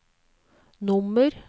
nummer